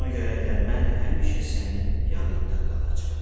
Ona görə də mən həmişə sənin yanında qalacam.